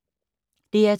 DR2